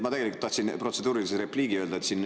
Ma tegelikult tahtsin protseduurilise repliigi öelda.